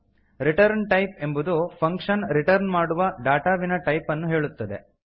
return type ಎಂಬುದು function return ಮಾಡುವ data ವಿನ ಟೈಪ್ ಅನ್ನು ಹೇಳುತ್ತದೆ